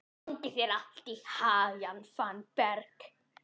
Gangi þér allt í haginn, Fannberg.